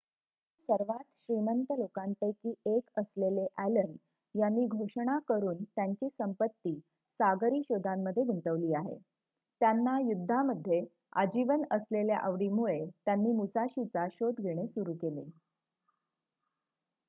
जगातील सर्वात श्रीमंत लोकांपैकी एक असलेले ॲलन यांनी घोषणा करून त्यांची संपत्ती सागरी शोधांमध्ये गुंतवली आहे आणि त्यांना युद्धामध्ये आजीवन असलेल्या आवडीमुळे त्यांनी मुसाशीचा शोध घेणे सुरू केले